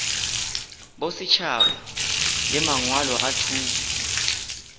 bosetšhaba le mangwalo a thuto